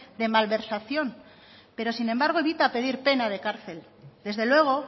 de malversación pero sin embargo evita pedir pena de cárcel desde luego